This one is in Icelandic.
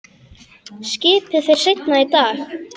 Skipið fer seinna í dag.